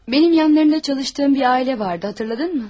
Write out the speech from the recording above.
Mənim yanında işlədiyim bir ailə vardı, xatırladınmı?